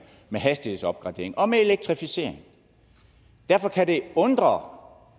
med hastighedsopgradering og med elektrificering derfor kan det undre